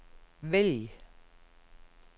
vælg